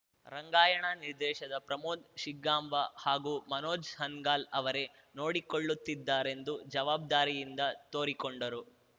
ರಂಗಾಯಣ ನಿರ್ದೇಶದ ಪ್ರಮೋದ್‌ ಶಿಗ್ಗಾಂಬ ಹಾಗೂ ಮನೋಜ ಹಾನಗಲ್‌ ಅವರೇ ನೋಡಿಕೊಳ್ಳುತ್ತಿದ್ದಾರೆಂದು ಜವಾಬ್ದಾರಿಯಿಂದ ತೋರಿಕೊಂಡರು